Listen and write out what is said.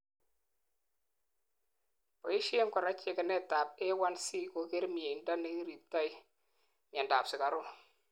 boishen korak checkenetab A1C koker mieindo neiribtoi miandap sukaruk